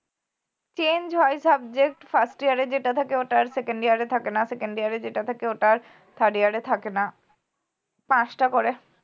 change হয় subject first year এ যেটা থাকে ওটা আর second year এ থাকে না second year এ যেটা থাকে ওটা আর third year এ থাকে না পাঁচটা করে